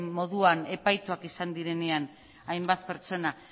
moduan epaituak izan direnean hainbat pertsona